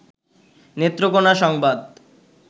নেত্রকোনা সংবাদ